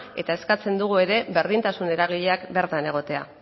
eta eskatzen dugu ere berdintasun eragileak bertan egotea